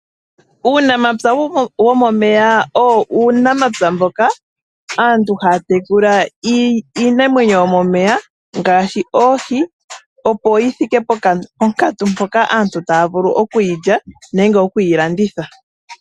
Uunamapya womomeya owo uunamapya mboka aantu haya tekula iinamwenyo yomomeya, ngaashi oohi, opo yi thike ponkatu mpoka aantu taya vulu oku yi lya nenge oku yi landitha.